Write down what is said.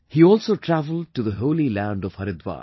He also travelled to the holy land of Haridwar